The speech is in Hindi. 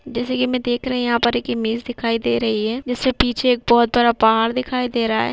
जैसे की मै देख रही हूँ यहाँ पर एक इमेज दिखाई दे रही है जिससे पीछे एक बहौत बड़ा पहाड़ दिखाई दे रहा है।